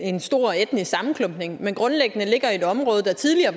en stor etnisk sammenklumpning men grundlæggende ligger i et område der tidligere